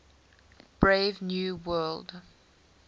brave new world